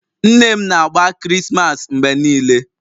Nne m na-agba Krismas mgbe niile